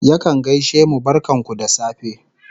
Yakan gaishe mu "barkan ku da safe"